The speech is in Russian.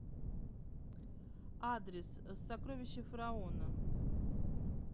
адрес сокровища фараона